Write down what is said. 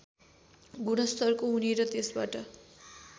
गुणस्तरको हुने र त्यसबाट